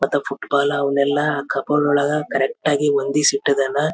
ಅವನು ಇಲ್ದೆ ಇರುವಾಗ ನಾನು ಹೋಗಿ ಕಸ್ಟಮರನ್ ವಿಚಾರಸ್ಕೊಂಡು ಏನ್ ಬೇಕ್ ಅಂತ ಕೆಲ ಕೇಳಿ ಕೊಡ್ತಾ ಇರ್ತೇನಿ.